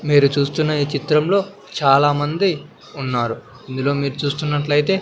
మీరు చూస్తున్న ఈ చిత్రంలో చాలామంది ఉన్నారు ఇందులో మీరు చూస్తున్నట్లయితే--